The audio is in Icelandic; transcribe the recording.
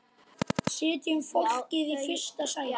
Setjum fólkið í fyrsta sæti.